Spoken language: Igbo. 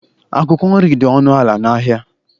Akwụkwọ nri dị ọnụ ala n’ahịa